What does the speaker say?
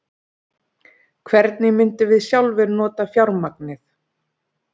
Hvernig myndum við sjálfir nota fjármagnið?